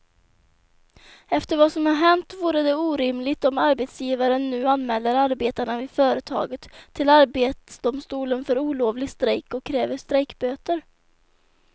Efter vad som har hänt vore det orimligt om arbetsgivaren nu anmäler arbetarna vid företaget till arbetsdomstolen för olovlig strejk och kräver strejkböter.